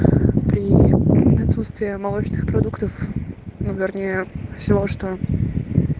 прии отсутствии молочных продуктов ну вернее всего что